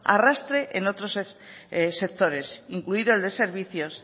arrastre en otros sectores incluido el de servicios